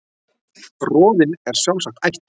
Roðinn er sjálfsagt ætt